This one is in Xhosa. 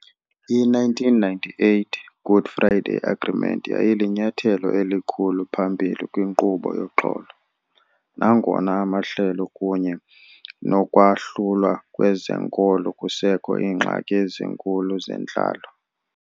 I-1998 Good Friday Agreement yayilinyathelo elikhulu phambili kwinkqubo yoxolo, nangona amahlelo kunye nokwahlulwa kwezenkolo kusekho iingxaki ezinkulu zentlalo.